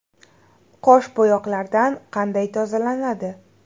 Qosh bo‘yoqlardan qanday tozalanadi?